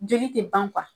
Joli tɛ ban